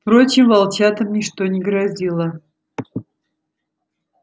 впрочем волчатам ничто не грозило